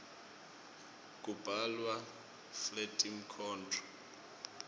kubhalwa fletinkhondro